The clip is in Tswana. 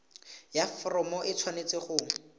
ya foromo e tshwanetse go